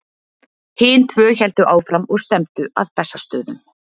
Hin tvö héldu áfram og stefndu að Bessastöðum.